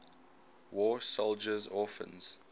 war soldiers orphans